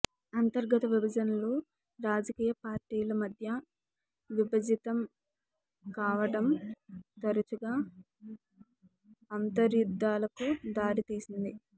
అంతర్గత విభజనలు రాజకీయపార్టీల మద్య విభజితం కావడం తరచుగా అంతర్యుద్ధాలకు దారి తీసింది